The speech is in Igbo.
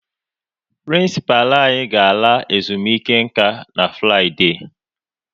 Prịnsịpalụ anyị ga-ala ezumike nka na Fraịde